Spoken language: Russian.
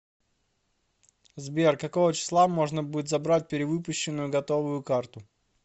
сбер какого числа можно будет забрать перевыпущенную готовую карту